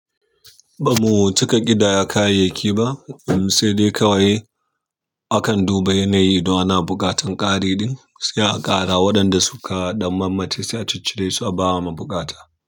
Ba mu cika ƙidaya kayayyaki ba, sai dai kawai akan duba yanayi don ana buƙatar ƙari ɗin sai a ƙara waɗanda suka ɗan mammace sai a cic ciresu a bama mabukata.